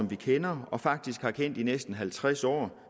vi kender og faktisk har kendt i næsten halvtreds år